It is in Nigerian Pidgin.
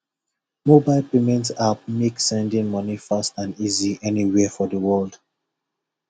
mobile payment app make sending money fast and easy anywhere for the world